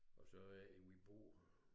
Og så er det vi bor